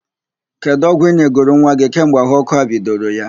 Kedụ ọgwụ ị nyegoro nwa gị kemgbe ahụ ọ́kụ́ a bidoro ya?